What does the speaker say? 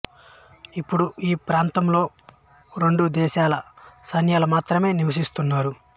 ఇప్పుడు ఈ ప్రాంతంలో రెండు దేశాల సైన్యాలు మాత్రమే నివసిస్తున్నారు